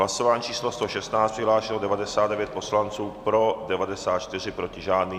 Hlasování číslo 116, přihlášeno 99 poslanců, pro 94, proti žádný.